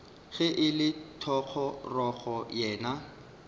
ge e le thogorogo yena